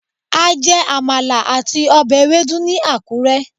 a jè Amala atí obè ewedu ni akure